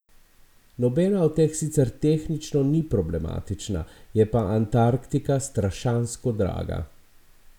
Nobena od teh sicer tehnično ni problematična, je pa Antarktika strašansko draga ...